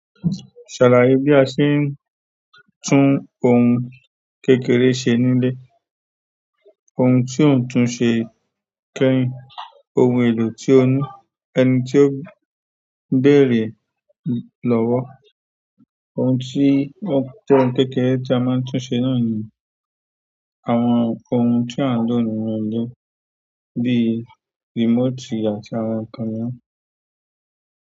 Ṣàlàyé bí a ṣe ń tún ohun kékeré ṣe nílé. Ohun tí ò ń tun ṣe kẹ́hìń ohun èlò tí ó ní ẹni tí ó ń bèré lọ́wọ́. Ohun tí ó jẹ́ ohun kékeré tí a máa ń tún ṣe náà ni àwọn ohun tí a ń lò nínú ilé bíi remote àti àwọn nkan miran.